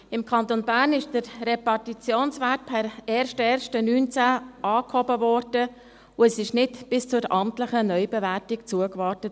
Im Kanton Bern wurde der Repartitionswert per 01.01.2019 angehoben, und es wurde nicht bis zur amtlichen Neubewertung zugewartet.